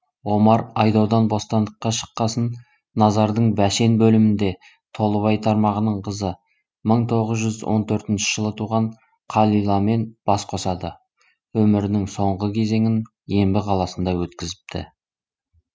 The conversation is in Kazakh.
омар айдаудан бостандыққа шыққасын назардың бәшен бөлімінде толыбай тармағының қызы мың тоғыз он төртінші жылы туған қалиламен бас қосады өмірінің соңғы кезеңін ембі қаласында өткізіпті